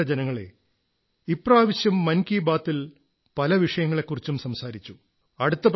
പ്രിയപ്പെട്ട ജനങ്ങളേ ഇപ്രാവശ്യം മൻ കീ ബാത് ൽ പല വിഷയങ്ങളെക്കുറിച്ചും സംസാരിച്ചു